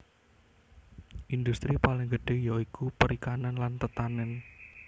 Indhustri paling gedhé ya iku perikanan lan tetanèn